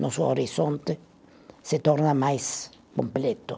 Nosso horizonte se torna mais completo.